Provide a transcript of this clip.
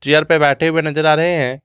Chair पे बैठे हुए नजर आ रहे है।